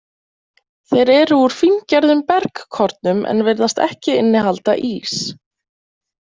Þeir eru úr fíngerðum bergkornum en virðast ekki innihalda ís.